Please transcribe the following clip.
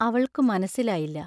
അവൾക്കു മനസ്സിലായില്ല.